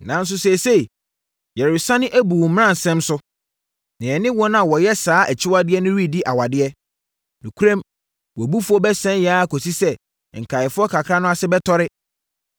Nanso, seesei, yɛresane abu wo mmaransɛm so, na yɛne wɔn a wɔyɛ saa akyiwadeɛ no redi awadeɛ. Nokorɛm, wʼabufuo bɛsɛe yɛn ara akɔsi sɛ, nkaeɛfoɔ kakra no ase bɛtɔre.